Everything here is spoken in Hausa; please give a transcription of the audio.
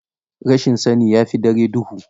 Rashin sani, ya fi dare duhu.